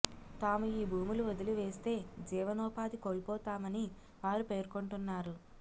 తాము ఈ భూములు వదిలివేస్తే జీవనోపాథి కోల్పోతామని వారు పేర్కొంటున్నారు